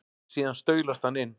Síðan staulast hann inn.